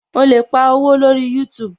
O lè pa owó lórí youtube